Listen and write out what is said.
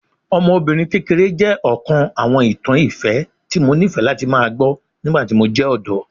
Ọmọbinrin kekere jẹ ọkan awọn itan ifẹ ti Mo nifẹ lati gbọ nigbati mo jẹ ọdọ